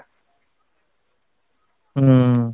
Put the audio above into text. ଉଁ